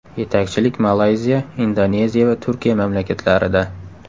Yetakchilik Malayziya, Indoneziya va Turkiya mamlakatlarida.